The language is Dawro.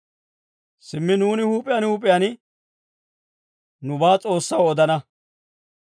Simmi nuuni huup'iyaan huup'iyaan nubaa S'oossaw odana.